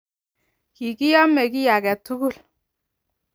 kikiame ki age tugul,